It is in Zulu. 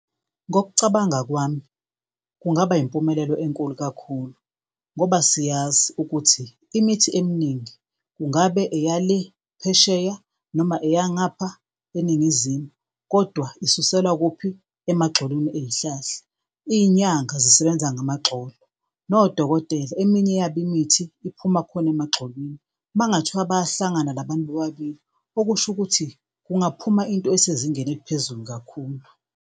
Ngokucabanga kwami kungaba impumelelo enkulu kakhulu ngoba siyazi ukuthi imithi eminingi kungabe eya le phesheya, noma eya ngapha eNingizimu kodwa isuselwe kuphi? Emagxolweni ey'hlahla. Iy'nyanga zisebenza ngamagxolo, nodokotela eminye yabo imithi iphuma khona emagxolweni. Uma kungathiwa bayahlangana la bantu bobabili, okusho ukuthi kungaphuma into esezingeni eliphezulu kakhulu.